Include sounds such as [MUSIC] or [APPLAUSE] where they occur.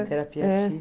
[UNINTELLIGIBLE] terapia [UNINTELLIGIBLE]